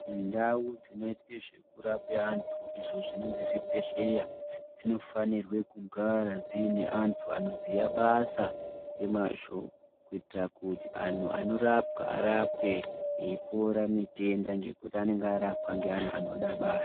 Ndau dzinoite zvekurape antu idzo dzinozi zvibhedhlera dzinofanire kugara dziine antu anoziya basa ngemazvo kuitira kuti antu anorapwa arapwe eipora mitenda ngekuti anonga arapwa ngeantu anode basa.